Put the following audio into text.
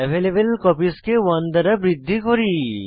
available copies কে 1 দ্বারা বৃদ্ধি করি